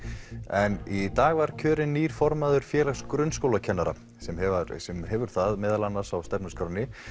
en í dag var kjörinn nýr formaður Félags grunnskólakennara sem hefur sem hefur það meðal annars á stefnuskránni